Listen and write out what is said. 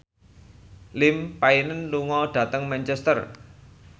Liam Payne lunga dhateng Manchester